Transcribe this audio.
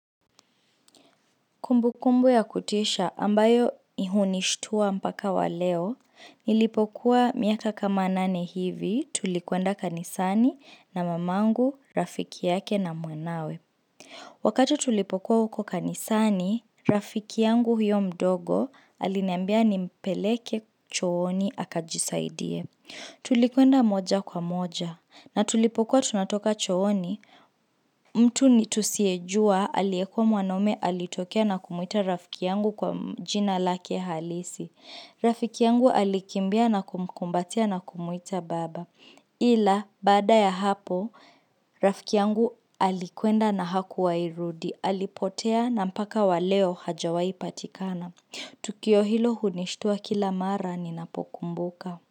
Kumbu kumbu ya kutisha ambayo ihunishtua mpaka wa leo, nilipokuwa miaka kama nane hivi tulikwenda kanisani na mamangu, rafiki yake na mwanawe. Wakati tulipokuwa huko kanisani, rafiki yangu huyo mdogo aliniambia nimpeleke chooni akajisaidie. Tulikwenda moja kwa moja na tulipokuwa tunatoka chooni mtu ni tusiyejua aliyekua mwanaume alitokea na kumuita rafiki yangu kwa jina lake halisi. Rafiki yangu alikimbia na kumkumbatia na kumuita baba. Ila baada ya hapo rafiki yangu alikwenda na hakuwahi rudi alipotea na mpaka wa leo hajawahi patikana. Tukio hilo hunishitua kila mara ni napokumbuka.